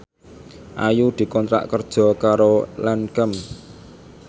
Ayu dikontrak kerja karo Lancome